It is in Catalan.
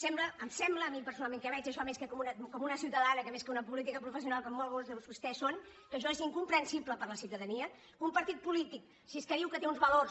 sembla em sembla a mi personalment que veig això més com una ciutadana que com una política professional com alguns de vostès són que això és incomprensible per a la ciutadania que un partit polític si és que diu que té uns valors